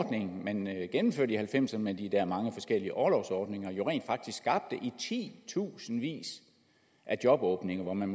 ordning man gennemførte i nitten halvfemserne med de der mange forskellige orlovsordninger jo rent faktisk skabte i titusindvis af jobåbninger men